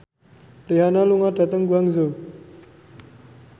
Rihanna lunga dhateng Guangzhou